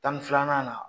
Tan ni filanan